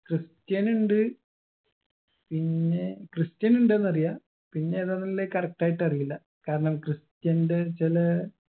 christian ഉണ്ട് പിന്നെ christian ഉണ്ട്ന്ന് അറിയാ പിന്നെ ഏതാന്നുള്ളെ correct ആയിട്ടറിയില്ല കാരണം christian ന്റെ ചെലെ